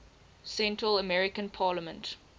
central american parliament